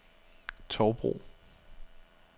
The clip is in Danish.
Tovbro